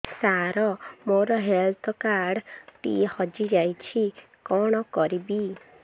ସାର ମୋର health card ଟି ହଜି ଯାଇଛି କଣ କରିବି